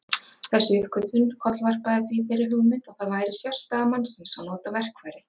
Þessi uppgötvun kollvarpaði því þeirri hugmynd að það væri sérstaða mannsins að nota verkfæri.